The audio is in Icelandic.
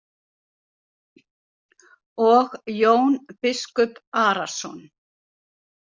Og Jón biskup Arason.